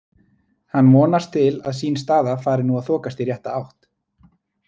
Hann vonast til að sín staða fari nú að þokast í rétta átt.